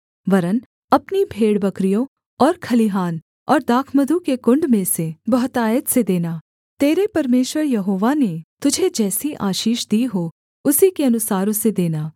वरन् अपनी भेड़बकरियों और खलिहान और दाखमधु के कुण्ड में से बहुतायत से देना तेरे परमेश्वर यहोवा ने तुझे जैसी आशीष दी हो उसी के अनुसार उसे देना